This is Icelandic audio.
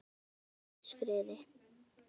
Far þú í Guðs friði.